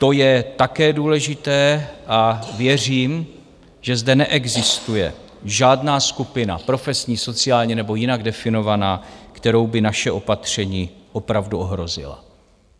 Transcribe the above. To je také důležité a věřím, že zde neexistuje žádná skupina profesní, sociální nebo jinak definovaná, kterou by naše opatření opravdu ohrozila.